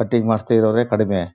Cutting ಮಾಡಿಸ್ತಾ ಇರೋರೆ ಕಡಿಮೆ.